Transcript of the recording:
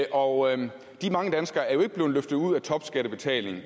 og de mange danskere er jo ikke blevet løftet ud af topskattebetaling